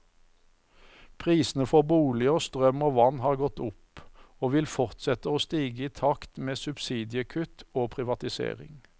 Prisene for boliger, strøm og vann har gått opp, og vil fortsette å stige i takt med subsidiekutt og privatisering.